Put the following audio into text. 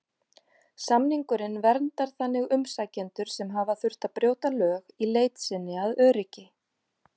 Samningurinn verndar þannig umsækjendur sem hafa þurft að brjóta lög í leit sinni að öryggi.